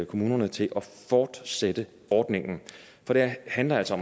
kommunerne til at fortsætte ordningen for det handler altså